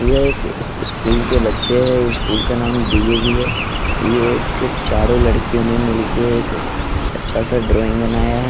ये एक इस इस्कूल के बच्चे हैं इस्कूल का नाम डी_ए_वी है ये एक चारों लड़कियों ने मिलके एक अच्छा सा ड्रॉइंग बनाया है।